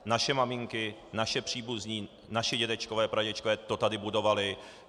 Naše maminky, naši příbuzní, naši dědečkové, pradědečkové to tady budovali.